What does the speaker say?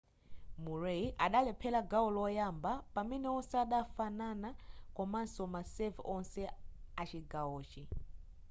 murray adalephera gawo loyamba pamene wonse adafanana komanso ma serve wonse achigawochi